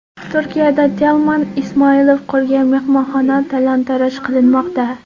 Turkiyada Telman Ismoilov qurgan mehmonxona talon-taroj qilinmoqda.